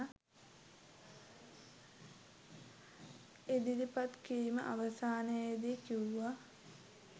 ඉදිරිපත් කිරීම අවසානයේදී කිව්වා